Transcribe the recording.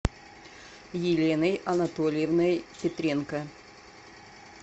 еленой анатольевной петренко